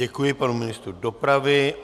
Děkuji panu ministru dopravy.